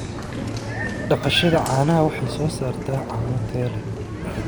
Dhaqashada caanaha waxay soo saartaa caano tayo leh.